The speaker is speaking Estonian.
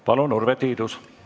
Palun, Urve Tiidus!